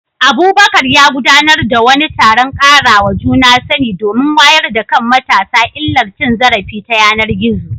Abubakar ya gudanar da wani taron ƙarawa juna sani domin wayar da kan matasa illar cin zarafi ta yanar gizo.